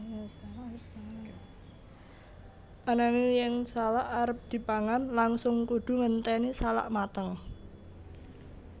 Ananging yen salak arep dipangan langsung kudu ngenténi salak mateng